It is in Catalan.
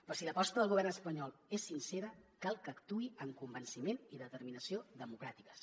però si l’aposta del govern espanyol és sincera cal que actuï amb convenciment i determinació democràtiques